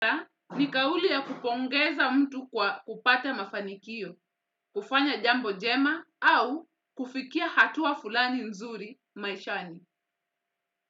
Nikauliya kupongeza mtu kwa kupata mafanikio, kufanya jambo njema au kufikia hatua fulani nzuri maishani.